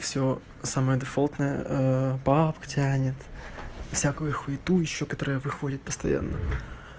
всё самое стандартное пабг тянет всякую хуету ещё которая выходит постоянно